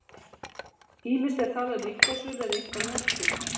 Ýmist er talað um einkasölu eða einokun.